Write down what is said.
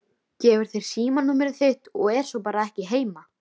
Gefur þér símanúmerið þitt og er svo bara ekki heima.